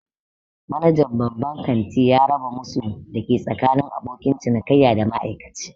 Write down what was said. Manajan babban ƙanti ya raba musu da yake tsakanin abokin cinikayya da ma'aikaci